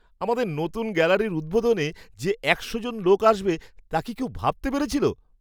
আমাদের নতুন গ্যালারির উদ্বোধনে যে একশো জন লোক আসবে তা কি কেউ ভাবতে পেরেছিল?